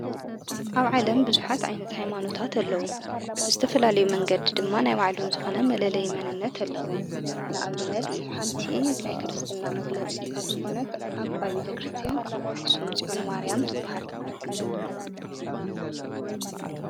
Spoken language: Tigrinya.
ኣብ ዓለም ብዙኃት ኣይነት ኣይማኖታት ኣለዉ ብስተፈላለዩ መንገድ ድማ ናይ ዋዕሉም ዝኾነ መለለ የመንነት ኣለዉ ንኣብነት ሓንቲ ናይ ክርስትና መግለጽ ካብ ዝኾነት ዓባ ቤተ ክርስቲያን ኣክስም ፂዑን ማርያም ትብሃል፡፡